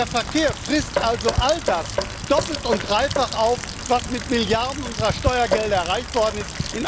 Der Verkehr frisst also all das doppelt und dreifach auf, was in anderen Sektoren mit Milliarden unserer Steuergelder erreicht worden ist.